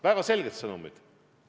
Väga selged sõnumid on.